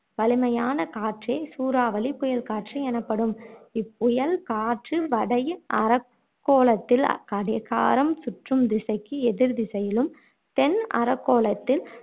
வலிமையான காற்றே சூறாவளி புயல் காற்று எனப்படும் இப்புயல் காற்று வட அரைக்கோளத்தில் கடிகாரம் சுற்றும் திசைக்கு எதிர் திசையிலும் தென் அரைக் கோளத்தில்